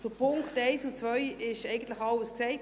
Zu den Punkten 1 und 2 wurde eigentlich alles gesagt.